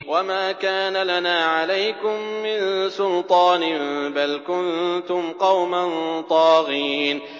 وَمَا كَانَ لَنَا عَلَيْكُم مِّن سُلْطَانٍ ۖ بَلْ كُنتُمْ قَوْمًا طَاغِينَ